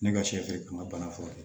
Ne ka sɛfɛri n ka bana furakɛ